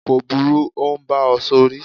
ko buru, n ọ bá ọ sorí